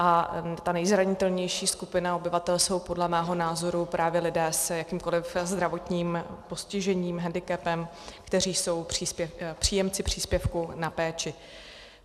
A ta nejzranitelnější skupina obyvatel jsou podle mého názoru právě lidé s jakýmkoli zdravotním postižením, hendikepem, kteří jsou příjemci příspěvku na péči.